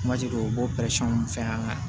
Kumaji dɔw u b'o fɛ an ka